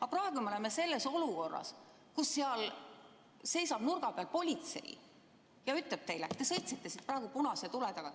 Aga praegu me oleme olukorras, kus seal nurga peal seisab politsei ja ütleb teile, et te sõitsite praegu punase tulega.